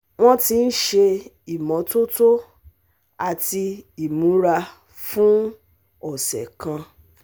Wọ́n ti ń ṣe ìmọ́tótó àti imura fún ọ̀sẹ̀ kan